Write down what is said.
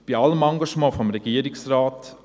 Bei allem Engagement des Regierungsrates: